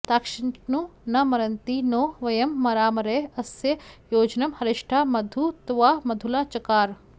ताश्चि॒न्नु न म॑रन्ति॒ नो व॒यं म॑रामा॒रे अ॑स्य॒ योज॑नं हरि॒ष्ठा मधु॑ त्वा मधु॒ला च॑कार